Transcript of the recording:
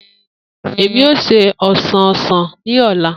Emi o se osan osan ni ọla.